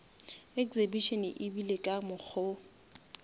exhibition e ebile ka mokgo